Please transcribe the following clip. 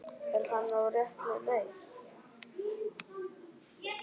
Er hann á réttri leið?